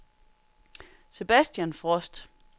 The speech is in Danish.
Sebastian Frost